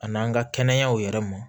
A n'an ka kɛnɛyaw yɛrɛ mɔ